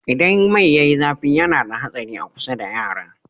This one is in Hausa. Idan mai yayi zafi yana da ha tsari a kusa da yara